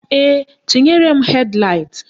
Ee, tinyere m hed laịt